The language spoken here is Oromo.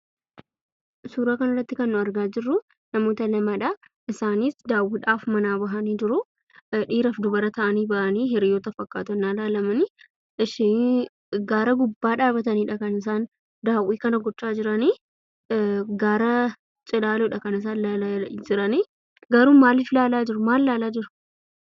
Suuraa kanarratti kan nuti argaa jirruu namoota lamadhaa, isaanis daawwiidhaaf manaa bahanii jiruu, dhiiraaf dubara ta'anii bahanii hiriyyoota fakkaatu, yennaa ilaalamani. Eshii , gaara gubbaadha kan isaan dhaabbataniidha kan isaan daawwii kana gochaa jiranii. Gaara cilaaloodha kan isaan ilaalaa jiranii garuu maaliif ilaalaa jiru? maal ilaalaa jiru?